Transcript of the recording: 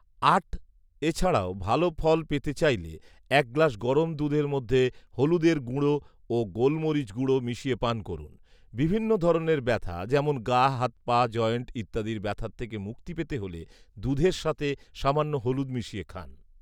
আট, এছাড়াও ভালো ফল পেতে চাইলে এক গ্লাস গরম দুধের মধ্যে হলুদের গুঁড়ো ও গোলমরিচ গুঁড়ো মিশিয়ে পান করুন৷ বিভিন্ন ধরনের ব্যথা যেমন গা, হাত, পা, জয়েন্ট ইত্যাদির ব্যথার থেকে মুক্তি পেতে হলে দুধের সাথে সামান্য হলুদ মিশিয়ে খান